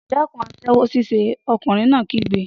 Dẹ́kun aṣẹ́wó ṣíṣe! Ọkùnrin náà kígbe.